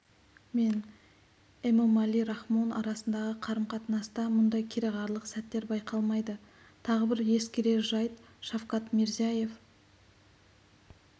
мен эмомали рахмон арасындағы қарым-қатынаста мұндай кереғарлық сәттер байқалмайды тағы бір ескерер жайт шавкат мирзиеев